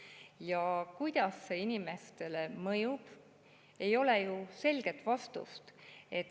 Sellele, kuidas see inimestele mõjub, ei ole ju selget vastust.